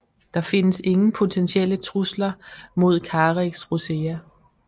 Der kendes ingen potentielle trusler mod Carex rosea